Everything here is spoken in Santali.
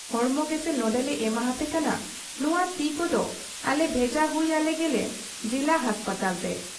ᱦᱚᱲᱢᱚ ᱜᱮᱥᱮ ᱱᱚᱰᱮᱞᱮ ᱮᱢᱟᱦᱟᱯᱮ ᱠᱟᱱᱟ , ᱱᱚᱶᱟ ᱛᱤ ᱠᱚᱫᱚ ᱟᱞᱮ ᱵᱷᱮᱡᱟ ᱦᱩᱭ ᱟᱞᱮ ᱜᱮᱞᱮ ᱡᱤᱞᱟ ᱦᱟᱥᱯᱟᱛᱟᱞᱛᱮ ᱾